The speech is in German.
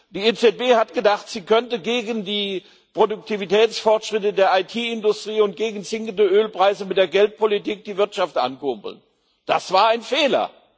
Die EZB hat gedacht, sie könnte gegen die Produktivitätsfortschritte der IT Industrie und gegen sinkende Ölpreise mit der Geldpolitik die Wirtschaft ankurbeln das war ein Fehler.